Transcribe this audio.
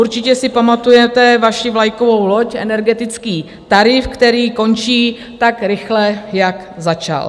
Určitě si pamatujete vaši vlajkovou loď, energetický tarif, který končí tak rychle, jak začal.